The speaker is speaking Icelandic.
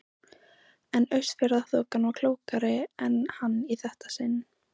En Austfjarðaþokan var klókari en hann í þetta sinn.